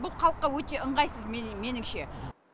бұл халыққа өте ыңғайсыз меніңше